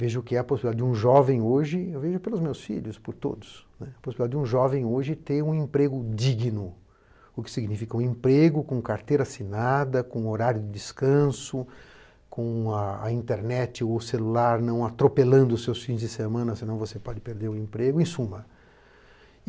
Vejo o que é a possibilidade de um jovem hoje, eu vejo pelos meus filhos, por todos, a possibilidade de um jovem hoje ter um emprego digno, o que significa um emprego com carteira assinada, com horário de descanso, com a internet ou celular não atropelando os seus fins de semana, senão você pode perder o emprego, em suma.